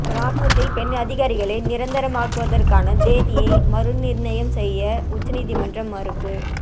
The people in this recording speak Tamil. ராணுவத்தில் பெண் அதிகாரிகளை நிரந்தரமாக்குவதற்கான தேதியை மறுநிா்ணயம் செய்ய உச்சநீதிமன்றம் மறுப்பு